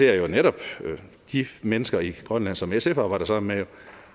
jeg jo netop de mennesker i grønland som sf arbejder sammen med